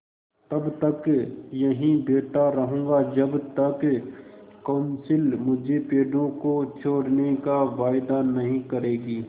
तब तक यहीं बैठा रहूँगा जब तक कौंसिल मुझे पेड़ों को छोड़ने का वायदा नहीं करेगी